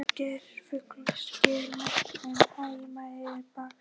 Geirfuglasker næst en Heimaey í baksýn.